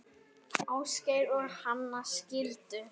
Ásgeir og Hanna skildu.